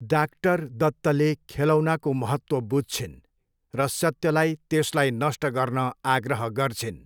Doctor दत्तले खेलौनाको महत्त्व बुझ्छिन् र सत्यलाई त्यसलाई नष्ट गर्न आग्रह गर्छिन्।